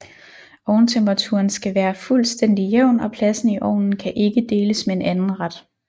Ovntemperaturen skal være fuldstændig jævn og pladsen i ovnen kan ikke deles med en anden ret